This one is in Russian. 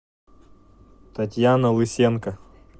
татьяна лысенко